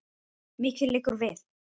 Mikið liggur við!